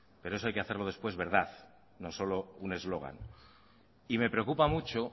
pero eso hay que hacerla después verdad no solo un eslogan y me preocupa mucho